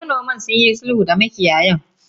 Eh, manoman sunyi sulhu da makiyayan.